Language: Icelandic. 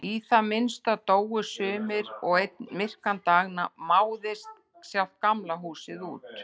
Í það minnsta dóu sumir og einn myrkan dag máðist sjálft Gamla húsið út.